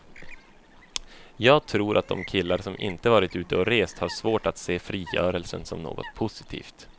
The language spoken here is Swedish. Jag tror att de killar som inte varit ute och rest har svårt att se frigörelsen som något positivt.